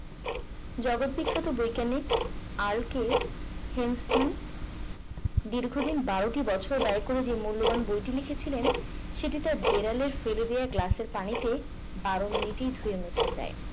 জগত বিখ্যাত বৈজ্ঞানিক r k হেস্টিং দীর্ঘদিন বারোটি বছর ব্যয় করে যে মূল্যবান বইটি লিখেছিলেন সেটি তার বিড়ালে ফেলে দেওয়া গ্লাসের পানিতে বারো মিনিটেই ধুয়ে মুছে যায়